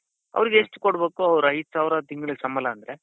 ಅವರಿಗೆ ಎಷ್ಟು ಕೊಡ್ಬೇಕು ಅವರಿಗೆ ಐದ್ ಸಾವಿರ ತಿಂಗಳಿಗೆ ಸಂಬಳ ಅಂದ್ರೆ.